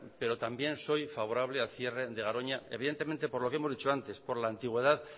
pero también que son favorable al cierre de garoña evidentemente por lo que hemos dicho antes por la antigüedad